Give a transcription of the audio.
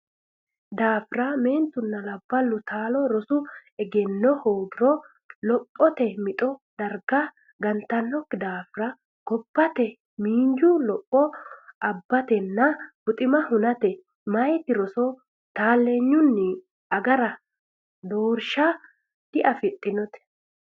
daafira meentunna labballu taalo rosu egenno hoogiro lophote mixo darga gantannokki daafira gobbate miinju lopho abbatenna buxima hunate meyate rosi taalleenya agara doorsha afidhinokkite.